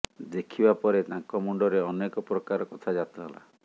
ଦେଖିବା ପରେ ତାଙ୍କ ମୁଣ୍ଡରେ ଅନେକ ପ୍ରକାର କଥା ଜାତ ହେଲା